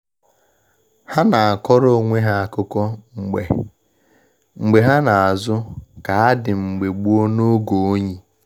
Ha na akọrọ onwe ha akụkọ mgbe mgbe ha na azụ kaadị mbge gboo n' oge oyi.